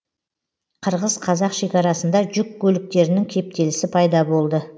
қырғыз қазақ шекарасында жүк көліктерінің кептелісі пайда болды